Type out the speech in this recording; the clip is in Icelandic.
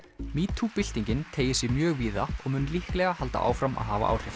metoo byltingin teygir sig mjög víða og mun líklega halda áfram að hafa áhrif